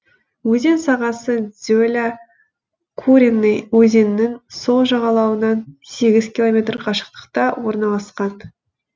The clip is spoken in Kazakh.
өзен сағасы дзеля куренный өзенінің сол жағалауынан сегіз километр қашықтықта орналасқан